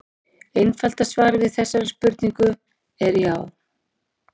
Einfalda svarið við þessari spurningu er já.